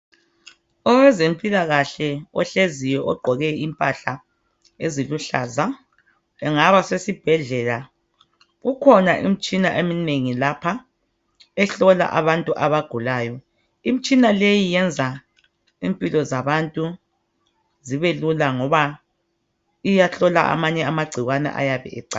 owezempilakahle ohleziyo ogqoke impahla eziluhlaza engaba sesibhedlela kukhona imitshina eminengi lapha ehlola abantu abanengi imitshina leyi yenza impilo zabantu zibelula ngoba iyahlola amanye amagcikwane ayabe ecatshile